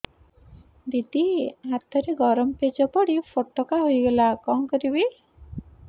ଦିଦି ହାତରେ ଗରମ ପେଜ ପଡି ଫୋଟକା ହୋଇଗଲା କଣ କରିବି